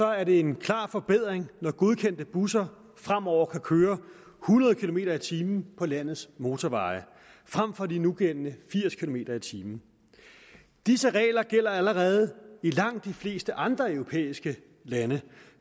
er det en klar forbedring når godkendte busser fremover kan køre hundrede kilometer per time på landets motorveje frem for de nugældende firs kilometer per time disse regler gælder allerede i langt de fleste andre europæiske lande